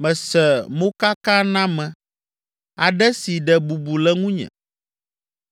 Mese mokaname aɖe si ɖe bubu le ŋunye,